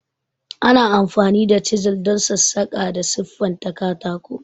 Ana amfani da chisels don sassaƙa da siffanta katako.